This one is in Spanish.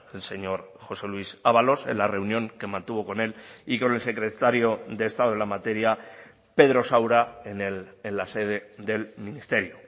el señor josé luis ábalos en la reunión que mantuvo con él y con el secretario de estado en la materia pedro saura en la sede del ministerio